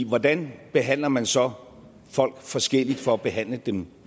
hvordan behandler man så folk forskelligt for at behandle dem